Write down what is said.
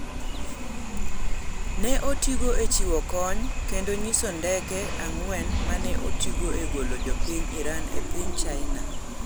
ne otigo e chiwo kony ,kendo nyiso ndeke ang'wen mane otigo e golo jopiny Iran e piny China